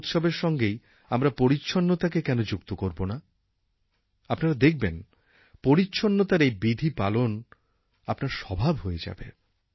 সব উৎসবের সঙ্গেই আমরা পরিচ্ছন্নতাকে কেন যুক্তি করব না আপনারা দেখবেন পরিচ্ছন্নতার এই বিধি পালন আপনার স্বভাব হয়ে যাবে